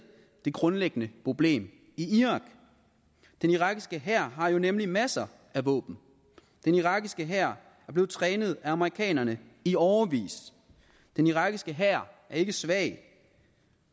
det grundlæggende problem i irak den irakiske hær har nemlig masser af våben den irakiske hær er blevet trænet af amerikanerne i årevis den irakiske hær er ikke svag